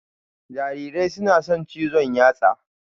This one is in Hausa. Jarirai suna son cizon yatsa